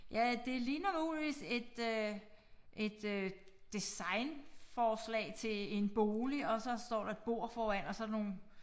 Ja det ligner muligvis et øh et øh designforslag til en bolig og så står der et bord foran og så der nogle